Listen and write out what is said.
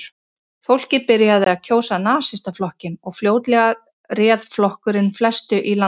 Fólkið byrjaði að kjósa Nasistaflokkinn og fljótlega réð flokkurinn flestu í landinu.